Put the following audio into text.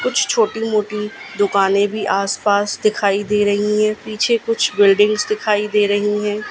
कुछ छोटी मोटी दुकानें भी आसपास दिखाई दे रही है पीछे कुछ बिल्डिंग्स दिखाई दे रही है।